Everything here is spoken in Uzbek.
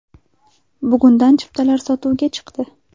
Bugundan chiptalar sotuvga chiqdi.